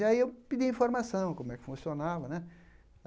E aí eu pedia informação, como é que funcionava, né?